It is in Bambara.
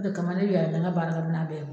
O de kama ne bɛ yaala ni n ka baarakɛ minan bɛɛ ye.